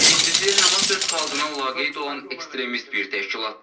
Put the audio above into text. Birincisi, Həmas öz xalqına laqeyd olan ekstremist bir təşkilatdır.